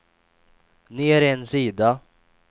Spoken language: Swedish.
ner en sida